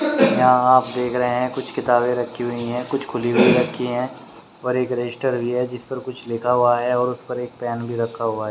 यहां आप देख रहे है कुछ किताबें रखी हुई है कुछ खुली हुई रखी है और एक रजिस्टर भी है जिस पर कुछ लिखा हुआ है और उस पर एक पेन भी रखा हुआ है।